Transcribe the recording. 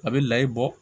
A bɛ layi bɔ